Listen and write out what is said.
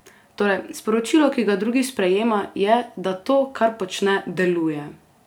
Torej, sporočilo, ki ga drugi sprejema, je, da to, kar počne, deluje!